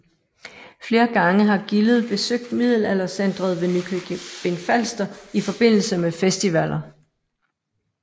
Flere gange har gildet besøgt Middelaldercentret ved Nykøbing Falster i forbindelse med festivaller